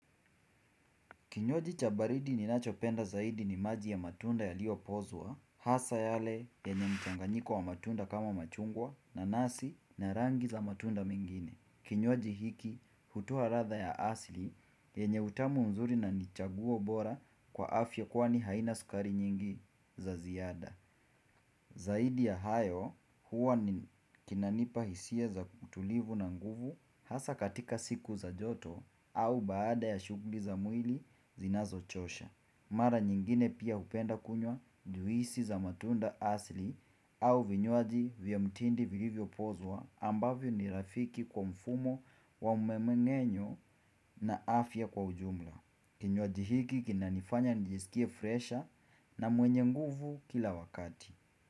Kinywaji cha baridi ninachopenda zaidi ni maji ya matunda yaliyopozwa, hasa yale yenye mchanganyiko wa matunda kama machungwa nanasi na rangi za matunda mengine. Kinywaji hiki hutoa radha ya asli yenye utamu mzuri na ni chaguo bora kwa afya kwani haina sukari nyingi za ziyada. Zaidi ya hayo huwa ni kinanipa hisia za utulivu na nguvu hasa katika siku za joto au baada ya shughli za mwili zinazochosha. Mara nyingine pia hupenda kunywa juisi za matunda asli au vinywaji vya mtindi vilivyopozwa ambavyo ni rafiki kwa mfumo wa mmemeng'enyo na afya kwa ujumla. Kinywaji hiki kinanifanya nijisikie fresha na mwenye nguvu kila wakati.